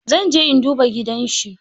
Zan je in duba gidanshi.